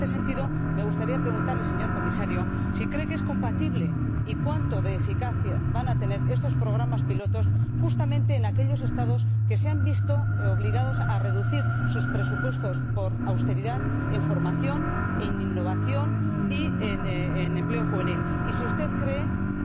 En este sentido, me gustaría preguntarle, señor Comisario, si cree que es compatible y cuán eficaces van a ser estos programas piloto, justamente en aquellos Estados que se han visto obligados a reducir sus presupuestos, por austeridad, en formación, en innovación y en empleo juvenil, y si usted cree que